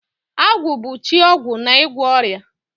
Agwu bu chi ogwu na igwo oria.